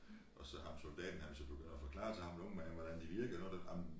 Og så ham soldaten han så begynder at forklare til ham den unge man hvordan de virkede når det ej men